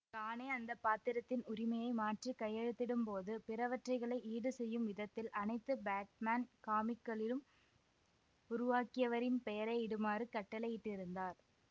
கானே அந்த பாத்திரத்தின் உரிமையை மாற்றி கையெழுத்திடும் போது பிறவற்றைகளை ஈடு செய்யும் விதத்தில் அனைத்து பேட்மேன் காமிக்களிலும் உருவாக்கியவரின் பெயரை இடுமாறு கட்டளையிட்டிருந்தார்